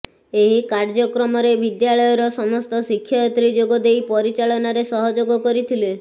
ଏହି କାର୍ଯ୍ୟକ୍ରମରେ ବିଦ୍ୟାଳୟର ସମସ୍ତ ଶିକ୍ଷୟତ୍ରୀ ଯୋଗଦେଇ ପରିଚାଳନାରେ ସହଯୋଗ କରିଥିଲେ